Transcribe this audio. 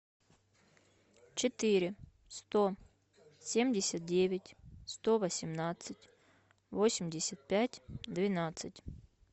четыре сто семьдесят девять сто восемнадцать восемьдесят пять двенадцать